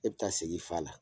E bɛ taa segi fa a la